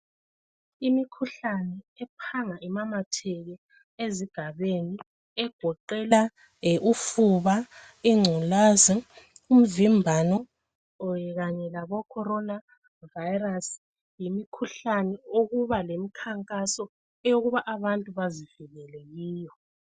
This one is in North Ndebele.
Imikhuhlane ephanga imamatheke ezigabeni egoqela ufuba , ingculazi, umvimbano kanye labo Corona virus. Yimikhuhlane okuba lemikhankaso ukuba abantu bazivikele kiyo.